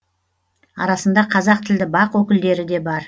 арасында қазақ тілді бақ өкілдері де бар